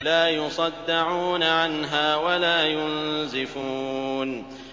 لَّا يُصَدَّعُونَ عَنْهَا وَلَا يُنزِفُونَ